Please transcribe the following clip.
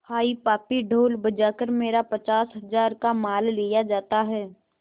हाय पापी ढोल बजा कर मेरा पचास हजार का माल लिए जाता है